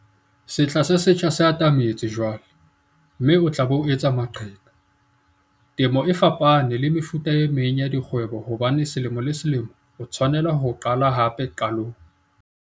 Sehla se setjha se atametse jwale, mme o tla be o etsa maqheka. Temo e fapane le mefuta e meng ya dikgwebo hobane selemo le selemo o tshwanela ho qala hape qalong.